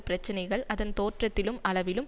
பிரச்சினைகள் அதன் தோற்றத்திலும் அளவிலும்